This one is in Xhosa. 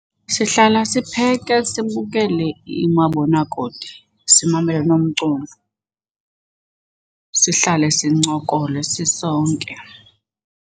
Sihlala sipheke sibukele umabonakude simamele nomculo. Sihlale sincokole sisonke.